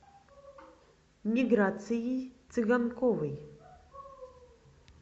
миграцией цыганковой